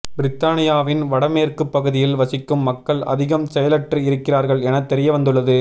பிரித்தானியாவின் வடமேற்கு பகுதியில் வசிக்கும் மக்கள் அதிகம் செயலற்று இருக்கிறார்கள் என தெரியவந்துள்ளது